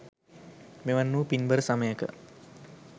මෙවන් වූ පින්බර සමයක